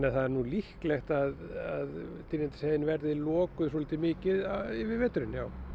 er líklegt að Dynjandisheiðin verði lokuð mikið yfir veturinn